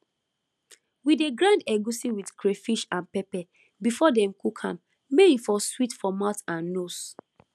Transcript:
we dey grind egusi with crayfish and pepper before dem cook am may e for sweet for mouth and nose